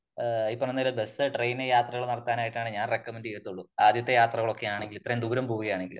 ഈ പറയുന്ന bus ,train യാത്രകൾ നടത്താനായിട്ടാണ് ഞാൻ റെകമന്റ് ചെയ്യത്തുളളു . ആദ്യത്തെ യാത്രകൾ ഒക്കെ ആണെങ്കിൽ ഇത്രയും ദൂരം പോകുകയാണെങ്കിൽ